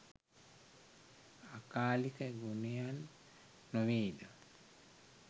අකාලික ගුණයන් නො වේද?